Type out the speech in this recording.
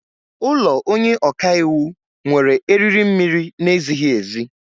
Ụlọ onye ọka iwu nwere eriri mmiri na-ezighi ezi.